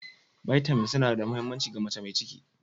Bitamins suna da mahimmanci ga mace mai ciki.